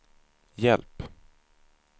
hjälp